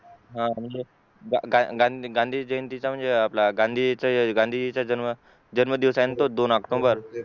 हा म्हणजे गांधी जयंतीचा म्हणजे आपला गांधीजींचा जन्म दिवस दोन OCTOMBER